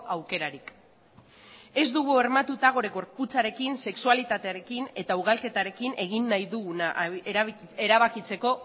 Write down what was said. aukerarik ez dugu bermatuta gure gorputzarekin sexualitatearekin eta ugalketarekin egin nahi duguna erabakitzeko